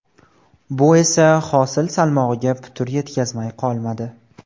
Bu esa hosil salmog‘iga putur yetkazmay qolmadi.